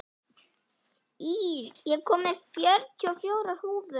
Ír, ég kom með fjörutíu og fjórar húfur!